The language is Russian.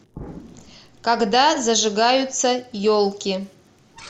когда зажигаются елки